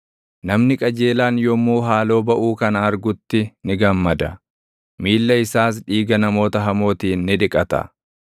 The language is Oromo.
Namni qajeelaan yommuu haaloo baʼuu kana argutti ni gammada; miilla isaas dhiiga namoota hamootiin ni dhiqata.